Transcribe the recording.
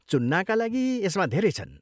चुन्नाका लागि यसमा धेरै छन्।